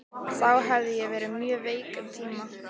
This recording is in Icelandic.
Þá hafði ég verið mjög veik um tíma.